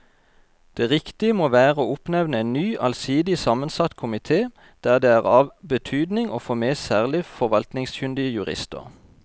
Det riktige må være å oppnevne en ny allsidig sammensatt komite der det er av betydning å få med særlig forvaltningskyndige jurister.